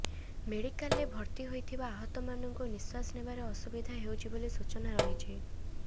ମେଡିକାଲରେ ଭର୍ତ୍ତି ହୋଇଥିବା ଆହତମାନଙ୍କୁ ନିଶ୍ବାସ ନେବାରେ ଅସୁବିଧା ହେଉଛି ବୋଲି ସୂଚନା ରହିଛି